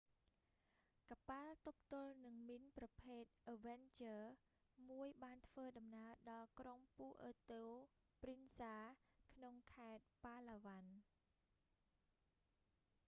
កប៉ាល់ទប់ទល់នឹងមីនប្រភេទអឹវែនជើរ avenger មួយបានធ្វើដំណើរដល់ក្រុងពូអឺតូ ព្រីនសា puerto princesa ក្នុងខេត្ត ប៉ាឡាវ៉ាន់ palawan